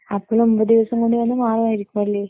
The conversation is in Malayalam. അപ്പൊ ഒമ്പത് ദിവസം കൊണ്ട് തന്നെ മാറുമായിരിക്കും, അല്ലേ?